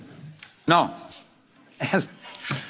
Lei mi sembra che è d'accordo per la risoluzione?